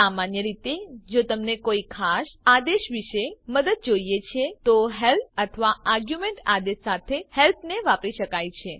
સામાન્ય રીતે જો તમને કોઈ ખાસ આદેશ વિશે મદદ જોઈએ છે તો હેલ્પ અથવા આર્ગ્યુંમેંટ આદેશ સાથે હેલ્પ ને વાપરી શકાય છે